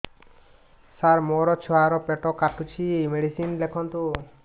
ସାର ମୋର ଛୁଆ ର ପେଟ କାଟୁଚି ମେଡିସିନ ଲେଖନ୍ତୁ